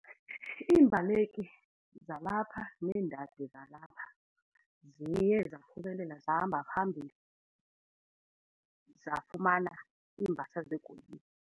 Iimbaleki zalapha neendadi zalapha ziye zaphumelela zahamba phambili zafumana iimbasa zegolide.